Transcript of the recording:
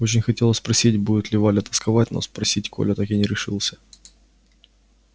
очень хотелось спросить будет ли валя тосковать но спросить коля так и не решился